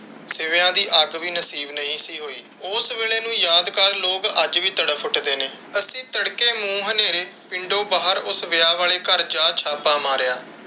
ਸਿਵਿਆਂ ਦੀ ਅੱਗ ਵੀ ਨਹੀਂ ਸੀ ਨਸੀਬ ਹੋਈ। ਉਸ ਵੇਹਲੇ ਨੂੰ ਯਾਦ ਕਰ ਲੋਕ ਅੱਜ ਵੀ ਤੜਪ ਉਠਦੇ ਨੇ। ਅੱਸੀ ਤੜਕੇ ਨੂੰ ਹਨੇਰੇ ਉਸ ਵਿਆਹ ਵਾਲੇ ਘਰ ਜਾ ਛਾਪਾ ਮਾਰਿਆ।